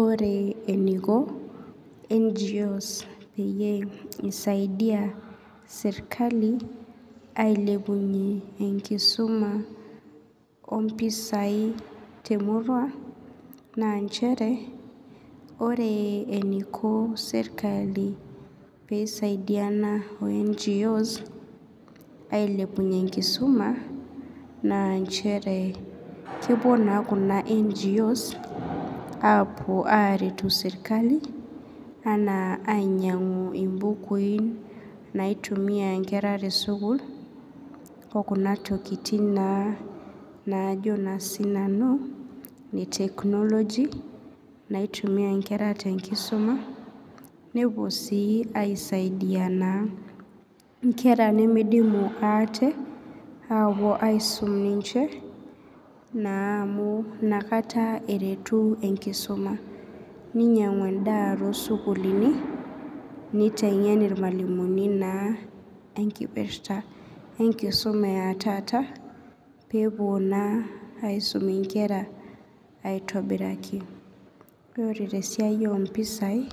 Ore eniko njos peyie isaidia serklai ailepunye enkisuma ompisai temurua na nchere ore eniko serkali peisaidiana o njos ailepunye enkisuma na nchere kepuo na kuna ngos aretoki serkali ainyangu impukuinaitumiabnkera tesukul okuna tokitin najo na sinanu te technology naitumiai nkera tenkisuma nepuobsibaisaidia nkera nimidimu ate apuo aisukbninche amu nakata eretu enkisuma, ninyangu endaa tosukulini nitengen irmalimulini enkipirta enkisuma etaata pepuo aisum nkera aitobiraki ore tesiai ompisai